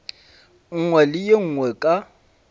nngwe le ye nngwe ka